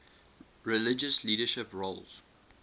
religious leadership roles